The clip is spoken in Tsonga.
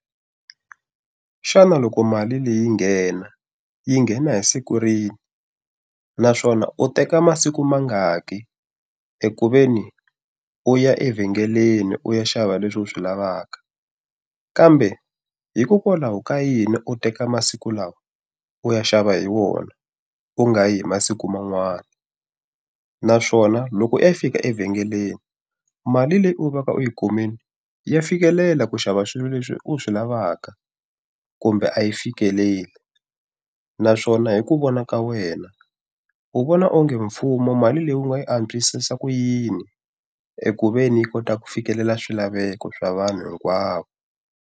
Xana loko mali leyi nghena yi nghena hi siku rini? Naswona u teka masiku mangaki eku ve ni u ya evhengeleni u ya xava leswi u swi lavaka? Kambe hikokwalaho ka yini u teka masiku lawa u ya xava hi wona, u nga yi hi masiku man'wana? Naswona loko u ya fika evhengeleni, mali leyi u veka u yi kumile ya fikelela ku xava swilo leswi u swi lavaka kumbe a yi fikeleli? Naswona hi ku vona ka wena wu vona onge mfumo mali leyi u nga yi antswisisa ku yini, eku ve ni yi kota ku fikelela swilaveko swa vanhu hinkwavo.